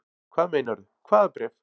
Hvað meinarðu. hvaða bréf?